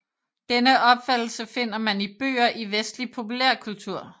Denne opfattelse finder man i bøger i vestlig populærkultur